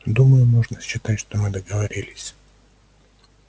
думаю можно считать что мы договорились